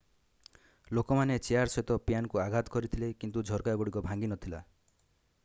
ଲୋକମାନେ ଚେୟାର ସହିତ ପ୍ୟାନକୁ ଆଘାତ କରିଥିଲେ କିନ୍ତୁ ଝରକାଗୁଡିକ ଭାଙ୍ଗି ନଥିଲା